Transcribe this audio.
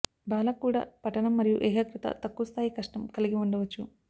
బాల కూడా పఠనం మరియు ఏకాగ్రత తక్కువ స్థాయి కష్టం కలిగి ఉండవచ్చు